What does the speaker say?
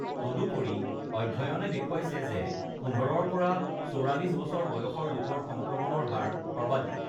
তদুপৰি, অধ্যয়নে দেখুৱাইছে যে ১৫-ৰ পৰা ৪৪ বছৰ বয়সৰ লোকৰ সংক্ৰমণৰ হাৰ সৰ্বাধিক৷